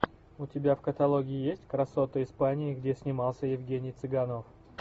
у тебя в каталоге есть красоты испании где снимался евгений цыганов